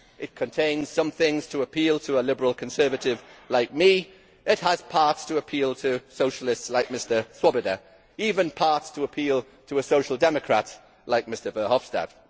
It contains some things to appeal to a liberal conservative like me, it has parts to appeal to socialists like Mr Swoboda, and even parts to appeal to a social democrat like Mr Verhofstadt.